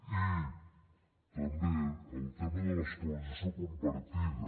i també el tema de l’escolarització compartida